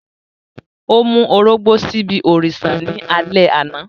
O mu orogbó sibi òrìṣà ni alẹ ana.